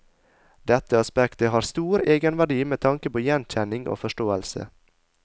Dette aspektet har stor egenverdi med tanke på gjenkjenning og forståelse.